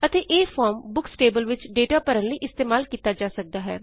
ਅਤੇ ਇਹ form books table ਵਿਚ ਡੇਟਾ ਭਰਨ ਲਈ ਇਸਤੇਮਾਲ ਕੀਤਾ ਜਾ ਸਕਦਾ ਹੈ